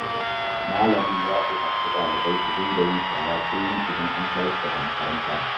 Malamin ya umurci ɗalibai da su dinga yin shara kullum idan an tashi daga makaranta.